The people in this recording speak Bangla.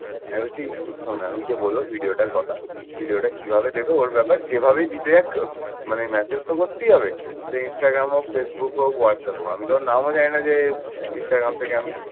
আমি বলছি শোন আমি গিয়ে বললাম ভিডিওটার কথা। ভিডিওটা কিভাবে দেব ওর ব্যাপার, যেভাবে দিতে যাক মানে message তো করতেই হবে। সে ইনস্টাগ্রাম হোক, ফেসবুক হোক, হোয়াটসঅ্যাপ হোক। আমি তো আর নামও জানি না যে ইনস্টাগ্রাম থেকে আমি